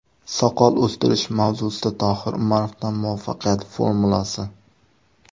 Soqol o‘stirish mavzusida Tohir Umarovdan muvaffaqiyat formulasi!.